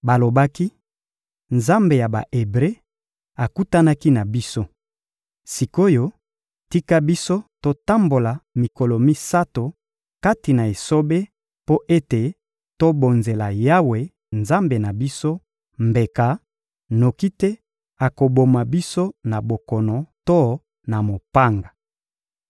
Balobaki: — Nzambe ya Ba-Ebre akutanaki na biso. Sik’oyo, tika biso totambola mikolo misato kati na esobe mpo ete tokobonzela Yawe, Nzambe na biso, mbeka; noki te akoboma biso na bokono to na mopanga.